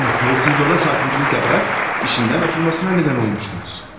Və siz də ona sarkıntılık edərək işindən atılmasına nədən olmuşdunuz.